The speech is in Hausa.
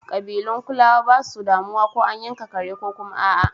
Kabilun Kulawa basu damuwa ko an yanka kare ko kuma a'a.